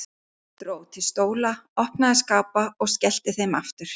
Dró til stóla, opnaði skápa og skellti þeim aftur.